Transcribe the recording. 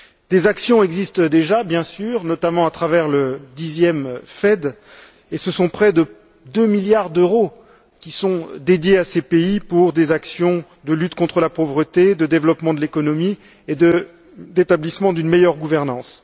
Des actions existent déjà, bien sûr, notamment à travers le dixième FED, et ce sont près de 2 milliards d'euros qui sont dédiés à ces pays pour des actions de lutte contre la pauvreté, de développement de l'économie et d'établissement d'une meilleure gouvernance.